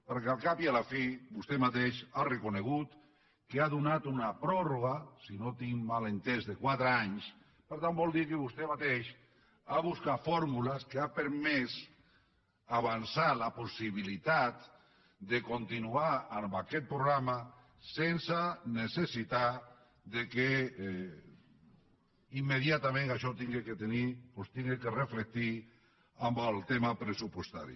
perquè al cap i a la fi vostè mateix ha reconegut que ha donat una pròrroga si no ho tinc mal entès de quatre anys per tant vol dir que vostè mateix ha buscat fórmules que han permès avançar la possibilitat de continuar amb aquest programa sense necessitar que immediatament això s’hagi de reflectir en el tema pressupostari